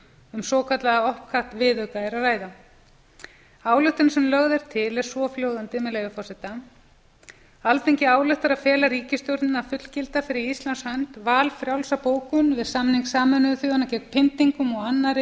um hinn svokallaða opcat viðauka er að ræða ályktunin sem lögð er til er svohljóðandi með leyfi forseta alþingi ályktar að fela ríkisstjórninni að fullgilda fyrir íslands hönd valfrjálsa bókun við samning sameinuðu þjóðanna gegn pyndingum og annarri